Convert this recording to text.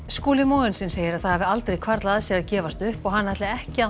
Skúli Mogensen segir að það hafi aldrei hvarflað að sér að gefast upp og hann hætti ekki